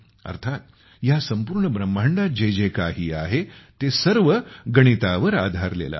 अर्थात ह्या संपूर्ण ब्रह्मांडात जे जे काही आहे ते सर्व गणितावर आधारलेले आहे